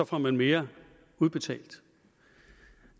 får man mere udbetalt